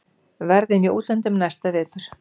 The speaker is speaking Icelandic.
Verður í útlöndum næsta vetur.